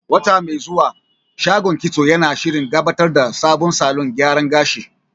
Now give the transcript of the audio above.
Wata mai zuwa, shagon kitso yana shirin gabatar da sabon salon gyara gashi.